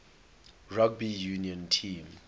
rugby union team